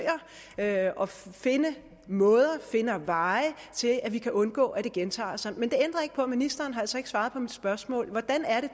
at finde veje til at vi kan undgå at det gentager sig men det ændrer ikke på at ministeren altså ikke har svaret på mit spørgsmål hvordan er det